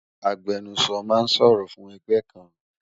Agbẹnusọ ma ń sọ̀rọ̀ fún ẹgbẹ́ kan